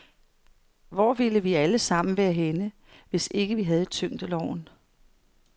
Hvor ville vi alle sammen være henne, hvis vi ikke havde tyngdeloven?